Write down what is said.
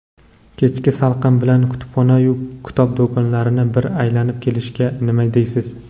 Kechki salqin bilan kutubxona-yu kitob do‘konlarini bir aylanib kelishga nima deysiz?.